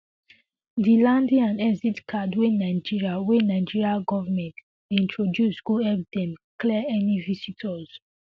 di landing and exit card wey nigeria wey nigeria govment dey introduce go help dem clear any visitors